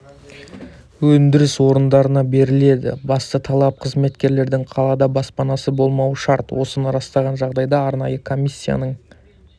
өндіріс орындарына беріледі басты талап қызметкерлердің қалада баспанасы болмауы шарт осыны растаған жағдайда арнайы комиссияның